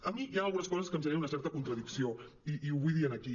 a mi hi han algunes coses que em generen una certa contradicció i ho vull dir aquí